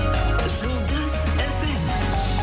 жұлдыз фм